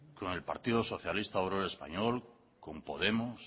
con el partido socialista obrero español con podemos